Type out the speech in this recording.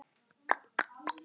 Þið eigið það skilið.